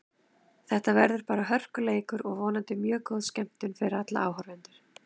Þetta verður bara hörkuleikur og vonandi mjög góð skemmtun fyrir áhorfendur.